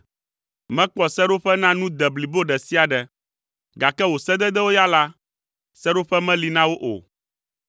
Mekpɔ seɖoƒe na nu de blibo ɖe sia ɖe, gake wò sededewo ya la, seɖoƒe meli na wo o.